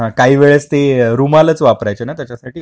काही वेळेस ते रुमालात वापरायचे त्याच्यासाठी